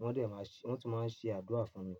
wọ́n dẹ̀ máa ṣe wọ́n tún máa ń ṣe àdúrà fún mi.